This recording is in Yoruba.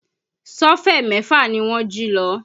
Sọ́fẹ̀ mẹ́fà ni wọ́n jí lọ